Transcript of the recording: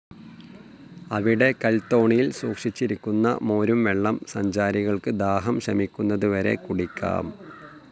അവിടെ കൽത്തോണിയിൽ സൂക്ഷിച്ചിരിക്കുന്ന മോരുംവെള്ളം സഞ്ചാരികൾക്ക്‌ ദാഹം ശമിക്കുന്നതുവരെ കുടിക്കാം.